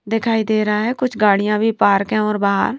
दिखाई दे रहा है कुछ गाड़ियां भी पार्क हैंऔर बाहर।